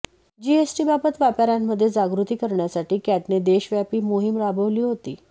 जीएसटीबाबत व्यापाऱ्यांमध्ये जागृती करण्यासाठी कॅटने देशव्यापी मोहीम राबवली होती